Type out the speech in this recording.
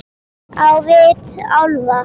Á vit álfa.